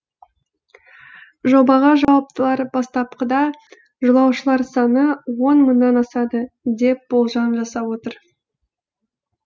жобаға жауаптылар бастапқыда жолаушылар саны он мыңнан асады деп болжам жасап отыр